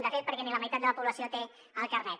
de fet perquè ni la meitat de la població té el carnet